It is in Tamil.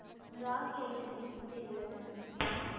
அந்த ராகி item எங்ககிட்ட இல்ல madam